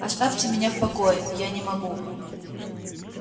оставьте меня в покое я не могу